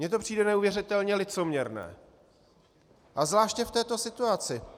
Mně to přijde neuvěřitelně licoměrné a zvláště v této situaci.